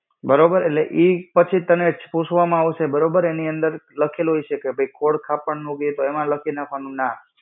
બરોબર, એટલે ઈ પછી તને પૂછવામાં આવશે તને એની અંદર લખેલું હઈશે કે ભૈ કી ખોડખાપણ નું, તો એમાં લખી નાખવાનું ના.